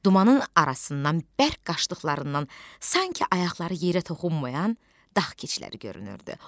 Dumanın arasından bərk qaçdıqlarından sanki ayaqları yerə toxunmayan dağ keçiləri görünürdü.